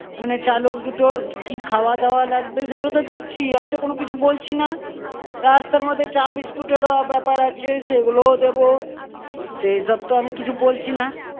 মানে চালক দুটোর কি কি খাওয়া-দাওয়া লাগবে, সেগুলো তো দিচ্ছি, আমি তো কোনো কিছু বলছিনা! রাস্তার মধ্যে চা বিস্কুটের ও ব্যাপার আছে সেগুলো-ও দেব. সেইসব তো আমি কিছু বলছিনা।